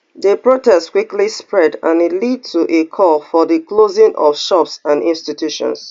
di protests quickly spread and e lead to a call for di closing of shops and institutions